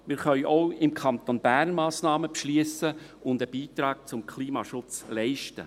Wir können auch im Kanton Bern Massnahmen beschliessen und einen Beitrag zum Klimaschutz leisten.